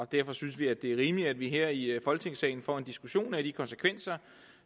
derfor synes vi at det er rimeligt at vi her i folketingssalen får en diskussion af de konsekvenser